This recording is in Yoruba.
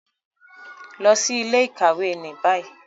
Lọ si ile-ikawe ni bayi